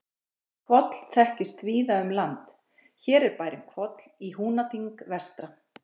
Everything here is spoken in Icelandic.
Hvoll þekkist víða um land, hér er bærinn Hvoll í Húnaþing vestra.